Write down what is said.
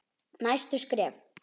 Næstu skref?